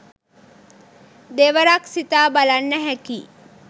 දෙවරක්‌ සිතා බලන්න හැකියි